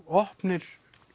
opnir